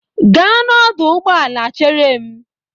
Gaa ọdụ ụgbọala chere m!